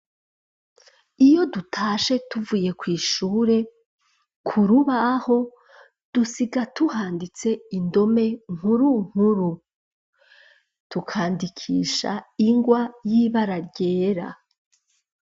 Iyo dutashe tuvuye kw'ishure kurubaho dusiga tuhanditse indome nkuru nkuru dukandikisha ingwa yibararyera.